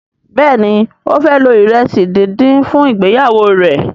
Béèni o fẹ lo iresi dín dín fún ìgbéyàwó rẹ.